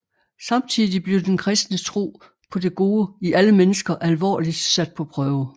Samtidig blev den kristne tro på det gode i alle mennesker alvorligt sat på prøve